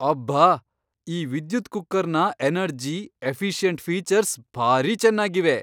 ಅಬ್ಬಾ! ಈ ವಿದ್ಯುತ್ ಕುಕ್ಕರ್ನ ಎನರ್ಜಿ, ಎಫಿಷಿಯಂಟ್ ಫೀಚರ್ಸ್ ಭಾರೀ ಚೆನ್ನಾಗಿವೆ!